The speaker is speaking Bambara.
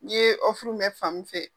Nin ye mɛ fa min fɛ.